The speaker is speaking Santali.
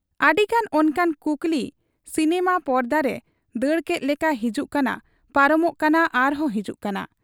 ᱟᱹᱰᱤᱜᱟᱱ ᱚᱱᱠᱟᱱ ᱠᱩᱠᱞᱤ ᱥᱤᱱᱮᱢᱟ ᱯᱚᱨᱫᱟᱨᱮ ᱫᱟᱹᱲ ᱠᱮᱫ ᱞᱮᱠᱟ ᱦᱤᱡᱩᱜ ᱠᱟᱱᱟ ᱯᱟᱨᱚᱢᱚᱜ ᱠᱟᱱᱟ ᱟᱨᱦᱚᱸ ᱦᱤᱡᱩᱜ ᱠᱟᱱᱟ ᱾